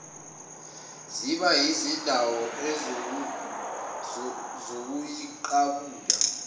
ziba yizindawo zokuziqabula